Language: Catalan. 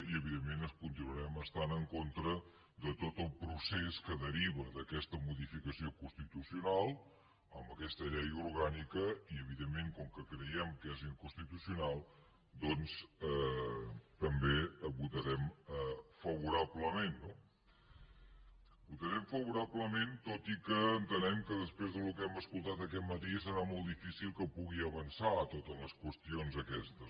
i evidentment continuarem estant en contra de tot el procés que deriva d’aquesta modificació constitucional amb aquesta llei orgànica i evidentment com que creiem que és inconstitucional doncs també votarem favorablement no votarem favorablement tot i que entenem que després del que hem escoltat aquest matí serà molt difícil que puguin avançar totes les qüestions aquestes